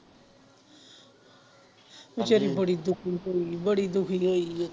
ਬੇਚਾਰੀ ਬੜੀ ਦੁੱਖੀ ਹੋਈ ਬੜੀ ਦੁੱਖੀ ਹੋਈ ਹੈ।